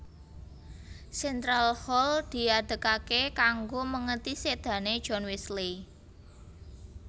Central Hall diadegaké kanggo mèngeti sédané John Wesley